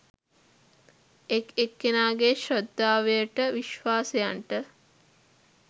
එක් එක්කෙනාගෙ ශ්‍රද්ධාවන්ට විශ්වාසයන්ට